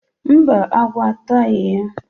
mba, agwọ atụghị ya.